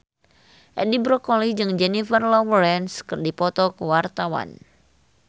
Edi Brokoli jeung Jennifer Lawrence keur dipoto ku wartawan